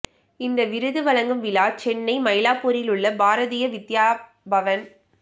இந்த விருது வழங்கும் விழா சென்னை மயிலாப்பூரிலுள்ள பாரதிய வித்யா பவன்